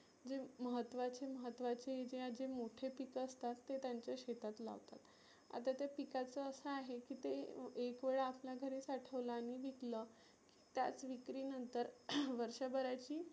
जी महत्वाची महत्वाची जे जे मोठे पीक असतात ते त्यांच्या शेतात लावतात. आता ते पिकाचं असं आहे की ते एक वेळा आपल्या घरी साठवलं आणि विकलं त्याच विक्री नंतर वर्षभराची